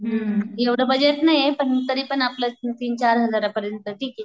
हम्म, एव्हडं बजेट नाहीये पण तरीपण आपलं तीन चार हजारापर्यंत ठीके.